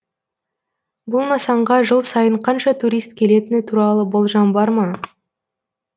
бұл нысанға жыл сайын қанша турист келетіні туралы болжам бар ма